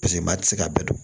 Paseke maa tɛ se k'a bɛɛ don